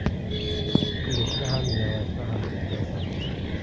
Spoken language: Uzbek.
Kulishni ham, yig‘lashni ham bilmaysan.